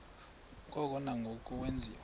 ngoko nangoko wenziwa